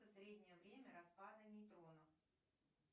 среднее время распада нейтронов